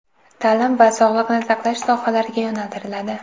ta’lim va sog‘liqni saqlash sohalariga yo‘naltiriladi.